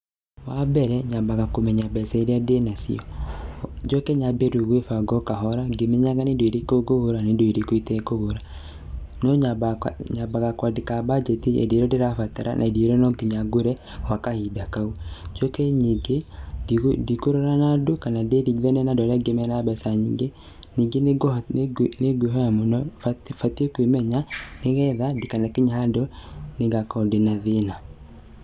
Wa mbere, nyambaga kũmenya mbeca iria ndĩnacio, njoke nyambie rĩu gwĩbanga o kahora ngĩmenyaga nĩ indo irĩkũ ngũgũra na nĩ indo irĩkũ itekũgũra. No nyambaga, nyambaga kwandĩka mbanjeti ya indo iria ndĩrabatara na nĩ indo irĩkũ no nginya ngũre gwa kahinda kau. Njoke nyingĩ, ndikũrora na andũ kana ndĩringithanie na andũ arĩa mena mbeca nyingĩ. Nyingĩ nĩ ngwĩhoya mũno, batiĩ kwĩmenya, nĩgetha ndikanakinye handũ nĩngakorwo ndĩ na thĩna.